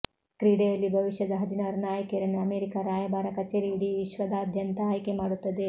ಕ್ರೀಡೆಯಲ್ಲಿ ಭವಿಷ್ಯದ ಹದಿನಾರು ನಾಯಕಿಯರನ್ನು ಅಮೆರಿಕಾ ರಾಯಭಾರ ಕಚೇರಿ ಇಡೀ ವಿಶ್ವದಾದ್ಯಂತ ಆಯ್ಕೆ ಮಾಡುತ್ತದೆ